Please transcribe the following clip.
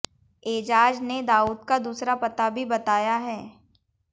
एजाज ने दाऊद का दूसरा पता भी बताया है